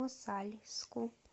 мосальску